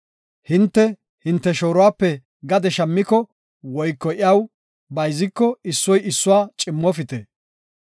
Hinte, hinte shooruwape gade shammiko woyko iyaw bayziko issoy issuwa cimmofite.